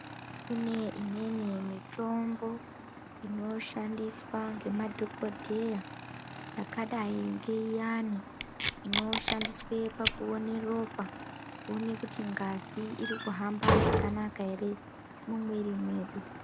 Kune imweni mitombo inoshandiswa ngemadhokodheya yakadai ngeiyani inoshandiswe pakuone ropa kuone kuti ngazi irikuhamba zvakanaka ere mumwiri mwedu